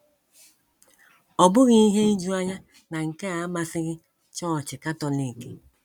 Ọ bụghị ihe ijuanya na nke a amasịghị Chọọchị Katọlik.